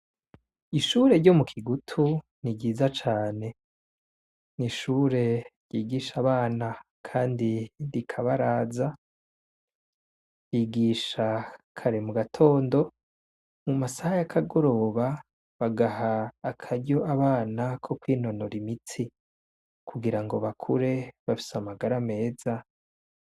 Ishure ryo mu Kigutu ni ryiza cane. Ni ishure ryigisha abana kandi rikabaraza, ryigisha kare mu gatondo mu masaha y'akagoroba bagaha akaryo abana ko kwinonora imitsi kugirango bakure bafise amagara meza.